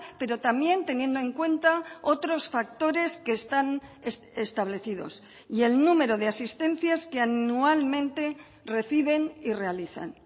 pero también teniendo en cuenta otros factores que están establecidos y el número de asistencias que anualmente reciben y realizan